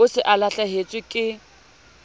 o se o lahlehetswe ke